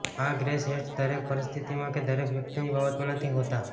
આ grey shades દરેક પરિસ્થિતિમાં કે દરેક વ્યક્તિની બાબતમાં નથી હોતા